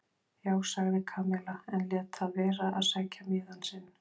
Já sagði Kamilla en lét það vera að sækja miðann sinn.